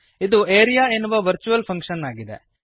ಇದು ಆರಿಯಾ ಎನ್ನುವ virtual function ಆಗಿದೆ